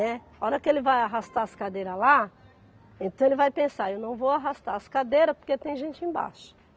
Né, a hora que ele vai arrastar as cadeiras lá, então ele vai pensar, eu não vou arrastar as cadeiras porque tem gente embaixo.